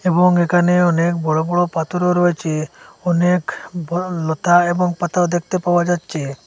এবং এখানে অনেক বড় বড় পাথরও রয়েছে অনেক ব লতা এবং পাতাও দেখতে পাওয়া যাচ্ছে।